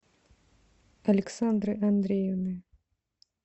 александры андреевны